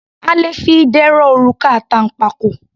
A le fi idẹ rọ òrùka àtànpàkò.